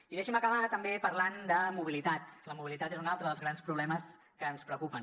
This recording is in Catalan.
i deixi’m acabar també parlant de mobilitat la mobilitat és un altre dels grans problemes que ens preocupen